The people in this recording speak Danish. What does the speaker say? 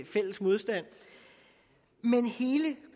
fælles modstand men hele